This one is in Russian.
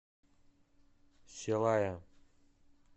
селая